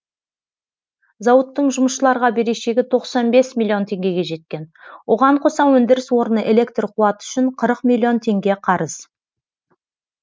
зауыттың жұмысшыларға берешегі тоқсан бес миллион теңгеге жеткен оған қоса өндіріс орны электр қуаты үшін қырық миллион теңге қарыз